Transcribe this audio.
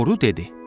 Boru dedi: